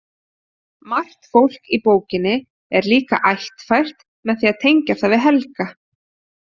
Margt fólk í bókinni er líka ættfært með því að tengja það við Helga.